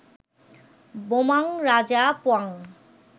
বোমাং রাজা পোয়াং